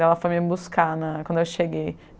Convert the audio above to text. Ela foi me buscar na quando eu cheguei.